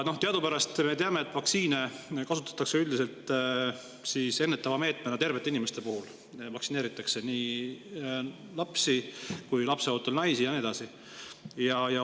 Me teame, et vaktsiine kasutatakse üldiselt ennetava meetmena tervete inimeste puhul, vaktsineeritakse nii lapsi kui ka lapseootel naisi ja nii edasi.